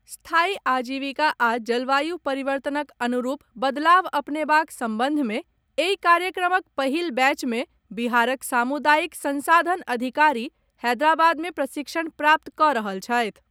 स्थायी आजीविका आ जलवायु परिवर्तनक अनुरूप बदलाव अपनेबाक संबंध मे एहि कार्यक्रमक पहिल बैच मे बिहारक सामुदायिक संसाधन अधिकारी हैदराबाद में प्रशिक्षण प्राप्त कऽ रहल छथि।